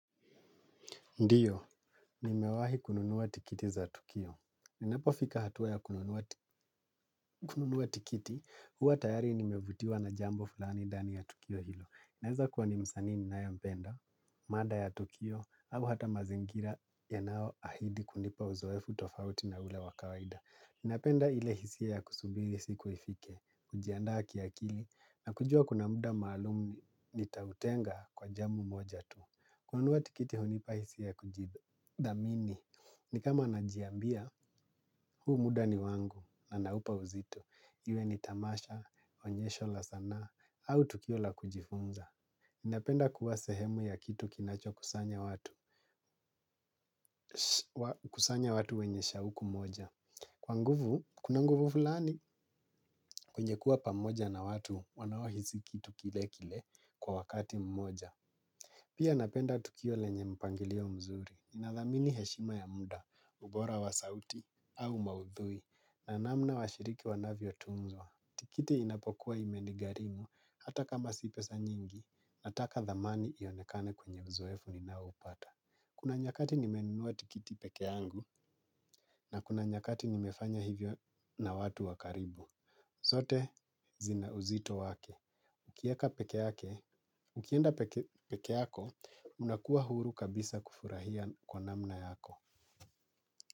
Ndio, nimewahi kununua tikiti za tukio. Ninapofika hatua ya kununua tikiti, huwa tayari nimevutiwa na jambo fulani ndani ya tukio hilo. Inaweza kuwa ni msanii ninayempenda, mada ya tukio, au hata mazingira yanayoahidi kunipa uzoefu tofauti na ule wa kawaida. Napenda ile hisia ya kusubiri siku ifike, kujiandaa kiakili, na kujua kuna muda maalumu nitautenga kwa jambo moja tu. Kununua tikiti hunipa hisia ya kujithamini, ni kama najiambia, huu muda ni wangu na naupa uzito. Iwe ni tamasha, onyesho la sanaa, au tukio la kujifunza. Napenda kuwa sehemu ya kitu kinacho kusanya watu, kusanya watu wenye shauku moja. Kwa nguvu, kuna nguvu fulani, kwenye kuwa pamoja na watu wanaohisi kitu kile kile kwa wakati mmoja. Pia napenda tukio lenye mpangilio mzuri. Ninathamini heshima ya muda, ubora wa sauti, au maudhui, na namna washiriki wanavyotunzwa. Tikiti inapokuwa imenigharimu hata kama si pesa nyingi, nataka dhamani ionekane kwenye uzoefu ninaoupata. Kuna nyakati nimenunua tikiti peke yangu, na kuna nyakati nimefanya hivyo na watu wa karibu. Zote zina uzito wake. Ukieka peke yake, ukienda peke yako, unakuwa huru kabisa kufurahia kwa namna yako.